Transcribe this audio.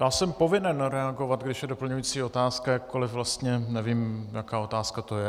Já jsem povinen reagovat, když je doplňující otázka, jakkoliv vlastně nevím, jaká otázka to je.